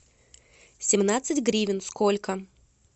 семнадцать гривен сколько